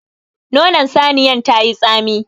Nonon saniyan tayi tsami.